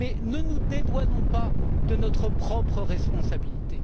Mais ne nous dédouanons pas de notre propre responsabilité.